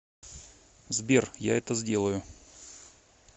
сбер я это сделаю